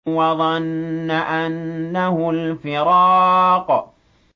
وَظَنَّ أَنَّهُ الْفِرَاقُ